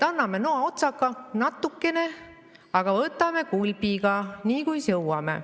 Anname noaotsaga natukene, aga võtame kulbiga, nii kuis jõuame.